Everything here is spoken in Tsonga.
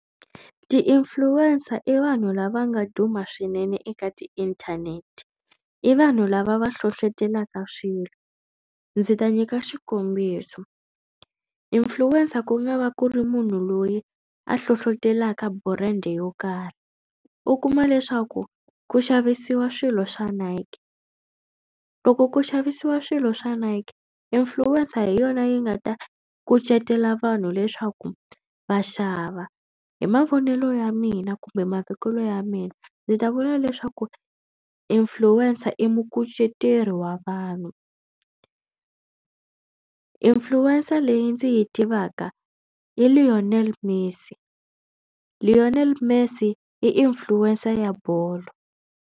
Ti-influencer i vanhu lava nga duma swinene eka tiinthanete. I vanhu lava va hlohlotelaka swilo. Ndzi ta nyika xikombiso influencer ku nga va ku ri munhu loyi a hlohlotelaka brand yo karhi. U kuma leswaku ku xavisiwa swilo swa Nike loko ku xavisiwa swilo swa Nike influencer hi yona yi nga ta kucetela vanhu leswaku va xava. Hi mavonelo ya mina kumbe mavekelo ya mina ndzi ta vula leswaku influencer i mukuceteri wa vanhu. Influencer leyi ndzi yi tivaka i Lionel Messi. Lionel Messi i influencer ya bolo.